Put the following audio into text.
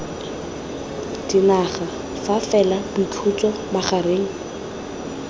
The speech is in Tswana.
dinaga fa fela boikhutso magareng